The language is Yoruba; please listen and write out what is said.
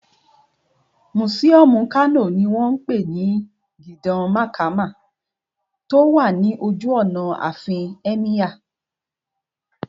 Mùsíọ̀mù Kano ní wọ́n pè ní Gidan Makama tó wà ní ojú ọ̀nà àfin Ẹ́míyà